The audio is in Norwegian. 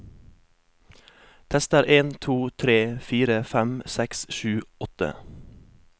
Tester en to tre fire fem seks sju åtte